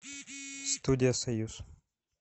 студия союз